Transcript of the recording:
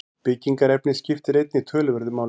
Byggingarefnið skiptir einnig töluverðu máli.